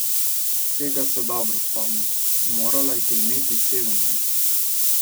Tega se dobro spomni, morala jih je imeti sedemnajst.